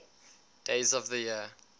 days of the year